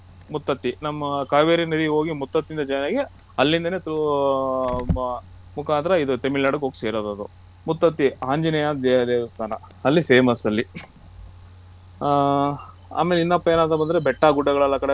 ಮುತ್ತತ್ತಿ ನಮ್ಮ ಕಾವೇರಿ ನದಿ ಹೋಗಿ ಮುತ್ತತ್ತಿ ಇಂದ join ಆಗಿ ಅಲ್ಲಿಂದನೇ through ಮ~ ಇದು ತಮಿಳುನಾಡಿಗೆ ಹೋಗಿ ಸೇರೋದು ಅದು ಮುತ್ತತ್ತಿ ಆಂಜನೇಯ ದೇವಸ್ತಾನ ಅಲ್ಲಿ famous ಅಲ್ಲಿ ಹಾ ಆಮೇಲೆ ಇನ್ನ ಏನಪ್ಪಾ ಅಂದ್ರೆ ಬೆಟ್ಟ ಗುಡ್ಡಗಳೆಲ್ಲ ಆ ಕಡೆ.